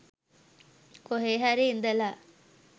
කොහේ හරි ඉඳලා